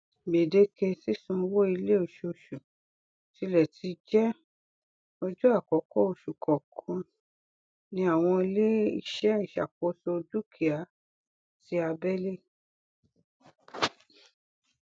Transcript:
gbèdéke sísan owó ilé oṣooṣù tilẹ ti jẹ ọjọ àkọkọ oṣù kọọkan ní àwọn iléeṣẹ ìṣàkóso dúkìá ti abẹlé